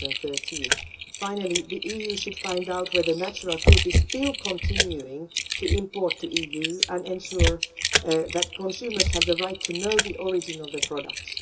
2013. Finally, the EU should find out whether Natural Fruit is still continuing to export to the EU, and should ensure that consumers have the right to know the origin of products.